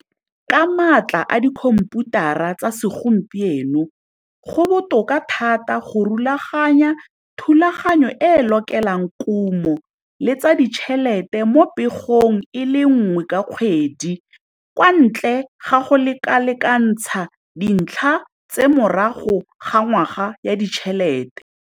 Ka maatla a dikhomputara tsa segompieno go botoka thata go rulaganya thulaganyo e e lokelang kumo le tsa ditšhelete mo pegong e le nngwe ka kgwedi kwa ntle ga go lekalekanathsa dintlha tse morago ga ngwaga ya ditšhelete.